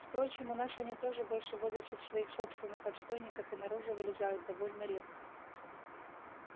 впрочем у нас они тоже больше водятся в своих собственных отстойниках и наружу вылезают довольно редко